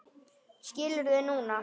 Skilur þau núna.